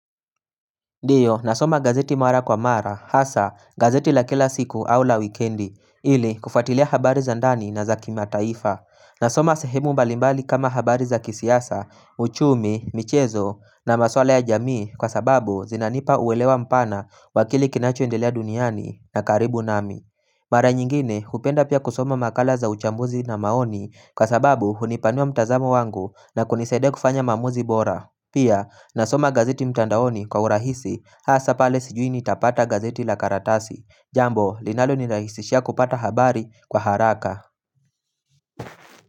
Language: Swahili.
Ndiyo nasoma gazeti mara kwa mara hasa gazeti la kila siku au la wikendi ili kufuatilia habari za ndani na za kimataifa nasoma sehemu mbalimbali kama habari za kisiasa, uchumi, michezo na maswala ya jamii kwa sababu zinanipa uelewa mpana wa kile kinacho endelea duniani na karibu nami mara nyingine hupenda pia kusoma makala za uchambuzi na maoni kwa sababu hunipanua mtazamo wangu na kunisaidia kufanya maamuzi bora pia, nasoma gazeti mtandaoni kwa urahisi, hasa pale sijui nitapata gazeti la karatasi. Jambo, linalo nirahisishia kupata habari kwa haraka.